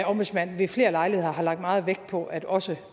ombudsmand ved flere lejligheder har lagt meget vægt på at også